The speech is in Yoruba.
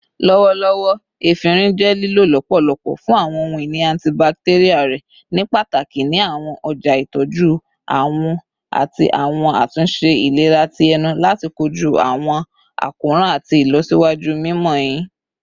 Lọwọlọwọ, efinrin jẹ lilo lọpọlọpọ fun awọn ohun-ini antibacterial rẹ, nipataki ni awọn ọja itọju awọ ati awọn atunṣe ilera ti ẹnu lati koju awọn akoran ati ilọsiwaju mimọ ehin